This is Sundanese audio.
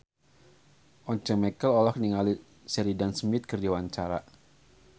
Once Mekel olohok ningali Sheridan Smith keur diwawancara